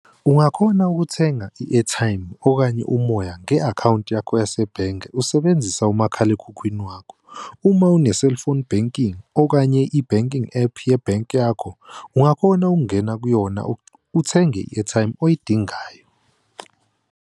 Ungakhona ukuthenga i-airtime okanye umoya nge-akhawunti yakho yasebhenge usebenzisa umakhalekhukhwini wakho. Uma une-cellphone banking, okanye i-banking app yebhenki yakho, ungakhona ukungena kuyona uthenge i-airtime oyidingayo.